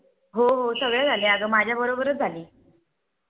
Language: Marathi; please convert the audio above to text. . हो हो सगळे झाले अग माझ्या बरोबरच झाले.